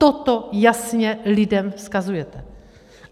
Toto jasně lidem vzkazujete.